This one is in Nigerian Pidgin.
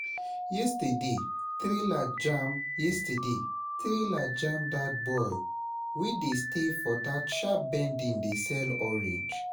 Yesterday, trailer jam Yesterday, trailer jam dat boy wey dey stay for that sharp bending dey sell orange